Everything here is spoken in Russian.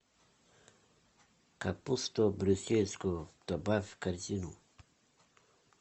капусту брюссельскую добавь в корзину